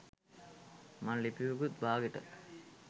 මං ලිපියකුත් බාගෙට